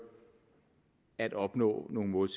at opnå nogle mål